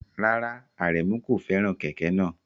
Rárá, Aremu kò fẹ́ràn kẹ̀kẹ́ náà.